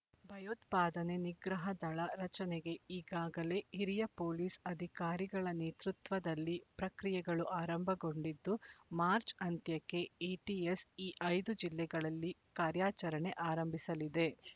ಭಯೋತ್ಪಾದನೆ ನಿಗ್ರಹ ದಳ ರಚನೆಗೆ ಈಗಾಗಲೇ ಹಿರಿಯ ಪೊಲೀಸ್ ಅಧಿಕಾರಿಗಳ ನೇತೃತ್ವದಲ್ಲಿ ಪ್ರಕ್ರಿಯೆಗಳು ಆರಂಭಗೊಂಡಿದ್ದು ಮಾರ್ಚ್ ಅಂತ್ಯಕ್ಕೆ ಎಟಿಎಸ್ ಈ ಐದು ಜಿಲ್ಲೆಗಳಲ್ಲಿ ಕಾರ್ಯಚರಣೆ ಆರಂಭಿಸಲಿದೆ